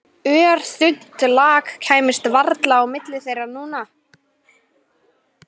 Örþunnt lak kæmist varla á milli þeirra núna.